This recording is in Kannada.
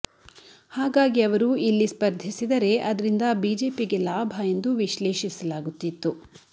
ಹಾಗಾಗಿ ಅವರು ಇಲ್ಲಿ ಸ್ಪರ್ಧಿಸಿದರೆ ಅದರಿಂದ ಬಿಜೆಪಿಗೆ ಲಾಭ ಎಂದು ವಿಶ್ಲೇಷಿಸಲಾಗುತ್ತಿತ್ತು